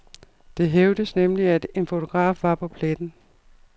Det hævdes nemlig, at en fotograf var på pletten.